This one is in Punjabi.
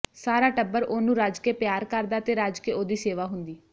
ਸਾਰਾ ਟੱਬਰ ਉਹਨੂੰ ਰੱਜ ਕੇ ਪਿਆਰ ਕਰਦਾ ਤੇ ਰੱਜ ਕੇ ਉਹਦੀ ਸੇਵਾ ਹੁੰਦੀ